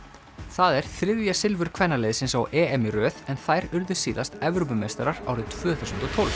það er þriðja silfur kvennaliðsins á EM í röð en þær urðu síðast Evrópumeistarar árið tvö þúsund og tólf